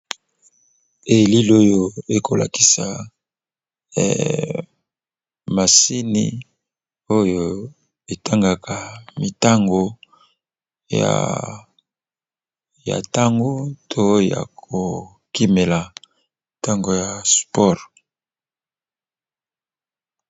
Elili oyo ekolakisa masini oyo etangaka mitango ya ntango to ya kokimela ntango ya spore.